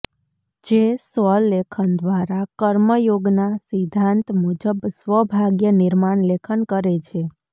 જે સ્વલેખન દ્વારા કર્મયોગનાં સિદ્ધાંત મુજબ સ્વભાગ્ય નિર્માણ લેખન કરે છે